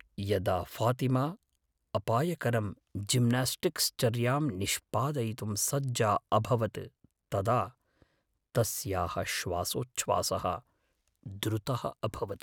यदा ऴातिमा अपायकरं जिम्नास्टिक्स् चर्याम् निष्पादयितुं सज्जा अभवत् तदा तस्याः श्वासोच्छ्वासः द्रुतः अभवत्।